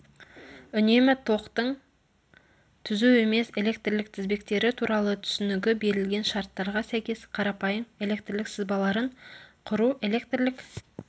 үнемі токтың түзу емес электрлік тізбектері туралы түсінігі берілген шарттарға сәйкес қарапайым электрлік сызбаларын құру электрлік